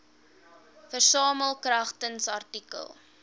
versamel kragtens artikel